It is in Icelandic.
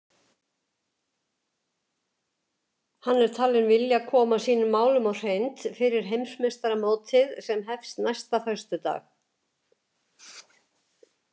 Hann er talinn vilja koma sínum málum á hreint fyrir Heimsmeistaramótið sem hefst næsta föstudag.